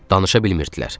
Danışa bilmirdilər.